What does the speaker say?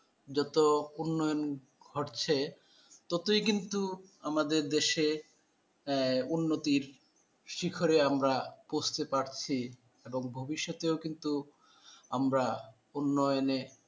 যত উন্নয়ন ঘটছে ততই কিন্তু আমাদের দেশে আহ উন্নতির শিখরে আমরা বুঝতে পারছি এবং ভবিষ্যতেও কিন্তু আমরা উন্নয়নে